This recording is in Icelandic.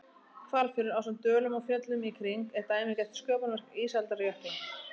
Hvalfjörður, ásamt dölum og fjöllum í kring, er dæmigert sköpunarverk ísaldarjökla.